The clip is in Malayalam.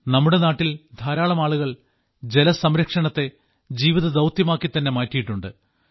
നമ്മുടെ നാട്ടിൽ ധാരാളം ആളുകൾ ജലസംരക്ഷണത്തെ ജീവിതദൌത്യമാക്കി തന്നെ മാറ്റിയിട്ടുണ്ട്